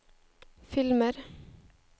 filmer